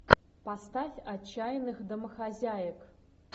поставь отчаянных домохозяек